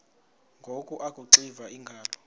ngoku akuxiva iingalo